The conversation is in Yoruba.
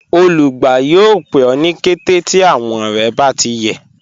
Olùgbà yọọ̀ pẹ̀ ọ ni kẹtẹ̀ ti awọn rẹ̀ bá ti yẹ